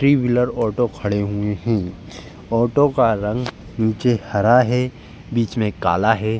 Three wheeler auto खड़े हुए हैं। ऑटो का रंग नीचे हरा है बीच में काला है।